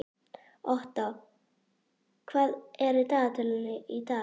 Otta, hvað er á dagatalinu í dag?